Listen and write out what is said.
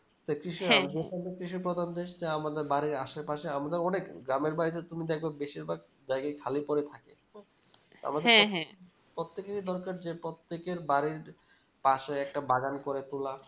কৃষি যেকানে কৃষি প্রধান দেশ যে আমাদের বাড়ির আশেপাশে আমরা অনেক গ্রমের বাড়িতে তুমি দেখব বেশির ভাগ জায়গায় খালি পরে থাকে প্রত্যেকেরই দরকার যে প্রত্যেকের বাড়ির পশে একটা বাগান করে তোলা